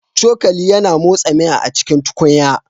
Cokali yana motsa miya a cikin tukunya